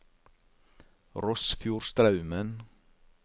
Rossfjordstraumen